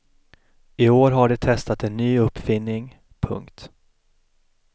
I år har de testat en ny uppfinning. punkt